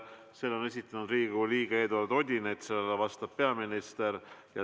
Selle esitab Riigikogu liige Eduard Odinets ja sellele vastab peaminister.